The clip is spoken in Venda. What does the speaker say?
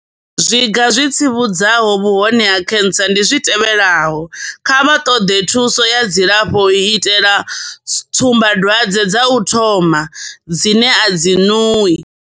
Zwiga zwi tsivhudzaho vhuhone ha khentsa ndi zwi tevhelaho, kha vha ṱoḓe thuso ya dzilafho u itela tsumbadwadze dza u thoma, dzine a dzi ṅuwi.